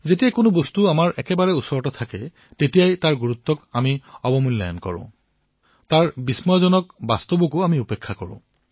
যেতিয়া কোনো বস্তু আমাৰ অতিশয় নিকট হয় তেতিয়া তাৰ গুৰুত্ব আমি অনুধাৱন নকৰো তাৰ আকৰ্ষণীয় সত্যসমূহো আমি অৱজ্ঞা কৰো